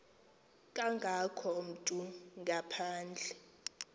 kangako umntu ngaphandle